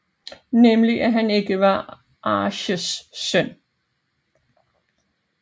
Nemlig at han ikke var Arsheesh søn